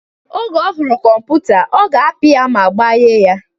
Oge ohụrụ kọmputa, ọ ga-apị ya ma gbaghe ya.